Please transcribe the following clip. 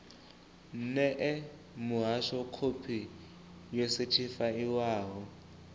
ṋee muhasho khophi yo sethifaiwaho